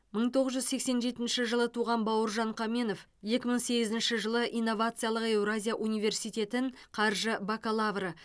мың тоғыз жүз сексен жетінші жылы туған бауыржан қаменов екі мың сегізінші жылы инновациялық еуразия университетін қаржы бакалавры